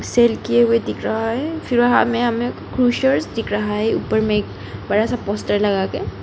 Cell किए हुए दिख रहा है फिर वहां में हमें क्रुशर्स दिख रहा है ऊपर में एक बड़ा सा पोस्टर लगा के।